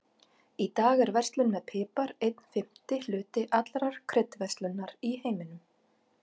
Í dag er verslun með pipar einn fimmti hluti allrar kryddverslunar í heiminum.